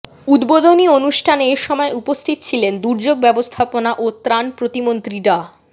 উদ্বোধনী অনুষ্ঠানে এ সময় উপস্থিত ছিলেন দুর্যোগ ব্যবস্থাপনা ও ত্রাণ প্রতিমন্ত্রী ডা